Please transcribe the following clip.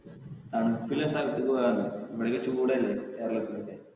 തണുപ്പ് ഉള്ള സ്ഥലത്തേക്ക് പോകാം എന്ന്, ഇവിടെയൊക്കെ ചൂട് അല്ലെ കേരളത്തിൽ ഒക്കെ.